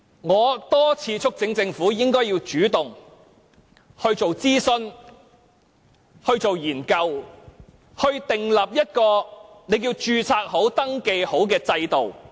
我多次促請政府主動進行諮詢和研究，從而訂立一項註冊或登記制度。